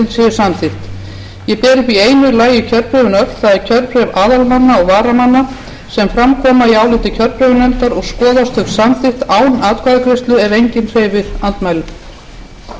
samþykkt ég ber því í einu lagi upp kjörbréfin öll það er kjörbréf aðalmanna og varamanna sem fram koma í áliti kjörbréfanefndar og skoðast þau samþykkt án atkvæðagreiðslu ef enginn hreyfir andmælum